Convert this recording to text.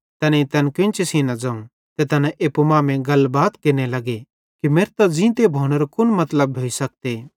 तैनेईं तैन केन्ची सेइं न ज़ोवं ते तैना एप्पू मांमेइं गलबात केरने लग्गे कि मेरतां ज़ींतो भोनेरो कुन मतलब भोइ सकते